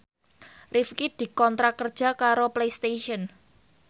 Rifqi dikontrak kerja karo Playstation